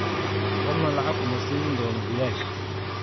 Qofna lacag kuma siin doono bilaash.